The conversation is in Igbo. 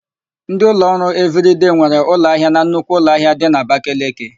Ndị ụlọọrụ Evịrịdei nwere ụlọahịa na nnukwu ụlọahịa dị n'Abakeleke.